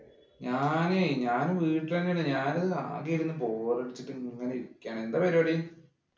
ഞാൻ ഞാന് വീട്ടിൽ തന്നെയാണ് ഞാന് ആകെ ഇരുന്നു ബോറടിച്ചിട്ട് ഇങ്ങനെ ഇരിക്കയാണ്. എന്താ പരിപാടി?